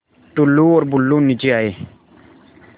टुल्लु और बुल्लु नीचे आए